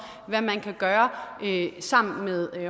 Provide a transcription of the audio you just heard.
hvad man kan gøre sammen med